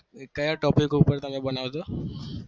એ કયા topic ઉપર તમે બનાવો છો?